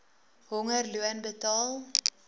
honger loon betaal